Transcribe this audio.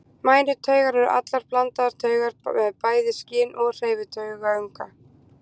Mænutaugar eru allar blandaðar taugar með bæði skyn- og hreyfitaugunga.